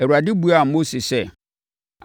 Awurade buaa Mose sɛ,